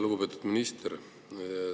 Lugupeetud minister!